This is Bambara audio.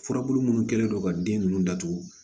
Furabulu munnu kɛlen don ka den ninnu datugu